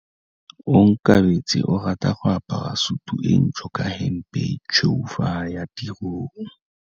Onkabetse o rata go apara sutu e ntsho ka hempe e tshweu fa a ya tirong.